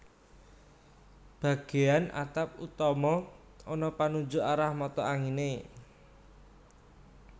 Bagéyan atap utama ana panunjuk arah mata anginé